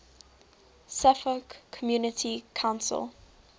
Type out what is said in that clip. suffolk community council